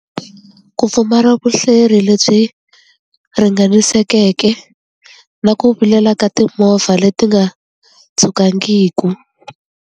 Ku pfumala vuhleri lebyi ringanisekeke na ku vilela ka timovha leti nga tshukangiku.